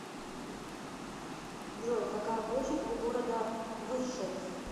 джой какая площадь у города выршец